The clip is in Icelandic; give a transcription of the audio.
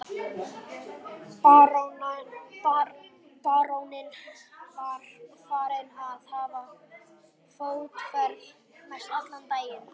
Baróninn var farinn að hafa fótaferð mestallan daginn.